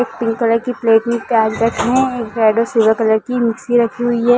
एक pink colour की plate में प्याज रखे हुए हैं एक रेड और सिल्वर कलर की मिक्सी रखी हुई हैं।